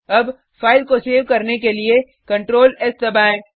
अब फाइल को सेव करने के लिए ctrls दबाएँ